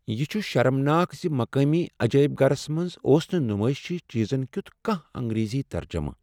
یہ چُھ شرمناک زِ مقٲمی عجٲئب گھرس منز اوس نہٕ نمٲیشی چیزن کِیُت کانٛہہ انگریزی ترجمہٕ۔